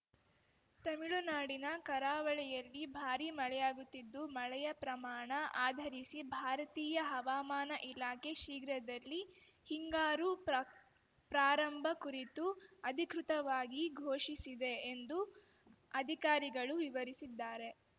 ತಮಿಳುನಾಡಿನ ಕರಾವಳಿಯಲ್ಲಿ ಭಾರಿ ಮಳೆಯಾಗುತ್ತಿದ್ದು ಮಳೆಯ ಪ್ರಮಾಣ ಆಧರಿಸಿ ಭಾರತೀಯ ಹವಾಮಾನ ಇಲಾಖೆ ಶೀಘ್ರದಲ್ಲಿ ಹಿಂಗಾರು ಪ್ರಾ ಪ್ರಾರಂಭ ಕುರಿತು ಅಧಿಕೃತವಾಗಿ ಘೋಷಿಸಿದೆ ಎಂದು ಅಧಿಕಾರಿಗಳು ವಿವರಿಸಿದ್ದಾರೆ